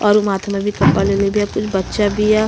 और माथ में भी कपड़ा लेले बिया। कुछ बच्चा बिया।